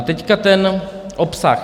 A teď ten obsah.